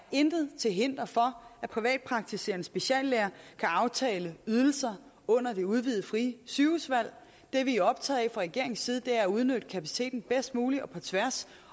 intet til hinder for at privatpraktiserende speciallæger kan aftale ydelser under det udvidede frie sygehusvalg det vi er optaget af regeringens side er at udnytte kapaciteten bedst muligt og på tværs